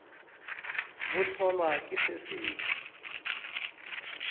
bo hlolwa ke se sengwe